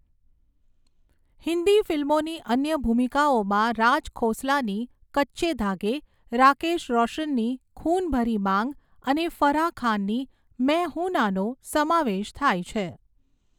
હિન્દી ફિલ્મોની અન્ય ભૂમિકાઓમાં રાજ ખોસલાની 'કચ્ચે ધાગે', રાકેશ રોશનની 'ખૂન ભરી માંગ' અને ફરાહ ખાનની 'મૈં હૂં ના'નો સમાવેશ થાય છે.